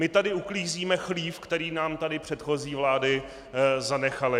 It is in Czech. My tady uklízíme chlív, který nám tady předchozí vlády zanechaly.